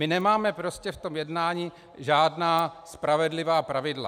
My nemáme prostě v tom jednání žádná spravedlivá pravidla.